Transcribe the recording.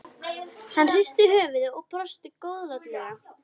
Hann hristi höfuðið og brosti góðlátlega.